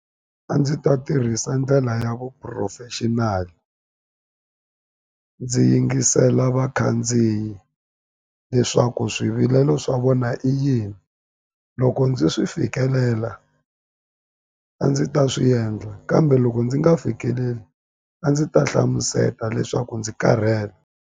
A ndzi ta tirhisa ndlela ya vu professional ndzi yingisela vakhandziyi leswaku swivilelo swa vona i yini loko ndzi swi fikelela a ndzi ta swi endla kambe loko ndzi nga fikeleli a ndzi ta hlamuseta leswaku ndzi karhele.